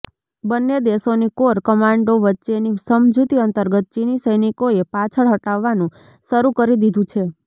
બંને દેશોની કોર કમાન્ડરો વચ્ચેની સમજૂતી અંતર્ગત ચીની સૈનિકોએ પાછળ હટવાનું શરૂ કરી દીધું છે